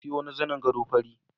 Na siyo wani zanin gado fari.